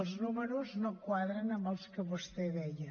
els números no quadren amb els que vostè deia